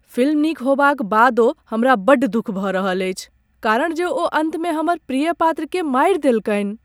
Film नीक होएबाक बादो हमरा बड्ड दुख भऽ रहल अछि कारण जे ओ अन्तमे हमर प्रिय पात्र केँ मारि देलकनि ।